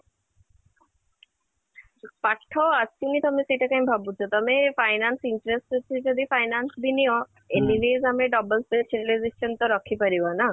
ପାଠ ଆସୁନି ତମେ ସେଇଟା କାଇଁ ଭାବୁଛ ତମେ finance interest ଅଛି ଯଦି finance ବି ନିଅ anyways ଆମେ double ତା ରଖି ପାରିବା ନା